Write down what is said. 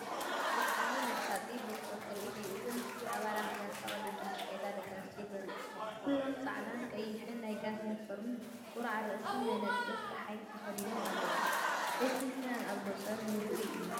ብጣዕሚ መሳጥን ብርቱዕን ትርኢት እዩ! እዚ ምስሊ ኣባላት ጋንታ ቅድድም ብሽክለታ ደቂ ኣንስትዮ ዘርኢ እዩ። ኩሎም ጻዕዳን ቀይሕን ናይ ጋንታ ዩኒፎርም፡ ቁራዕ ርእሲን መነጽር ጸሓይን ተኸዲኖም ኣለዉ። እቲ ፍናን ኣብ ገጾም ርኡይ እዩ።